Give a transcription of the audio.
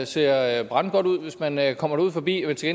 ser brandgodt ud hvis man man kommer derud forbi men til